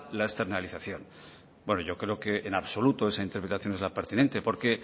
la externalización bueno yo creo que en absoluto esa interpretación es la pertinente porque